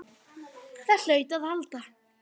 Það hlaut að halda.